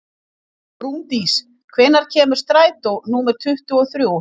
Rúndís, hvenær kemur strætó númer tuttugu og þrjú?